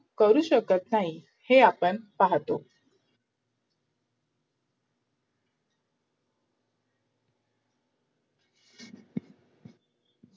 करू शकत नाही हे आपण पाहतो.